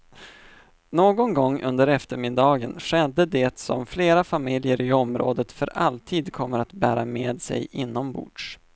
Någon gång under eftermiddagen skedde det som flera familjer i området för alltid kommer att bära med sig inombords.